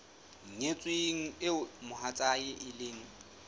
nyetsweng eo mohatsae e leng